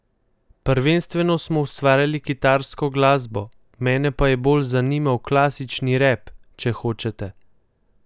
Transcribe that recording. Prvenstveno smo ustvarjali kitarsko glasbo, mene pa je bolj zanimal klasični rap, če hočete.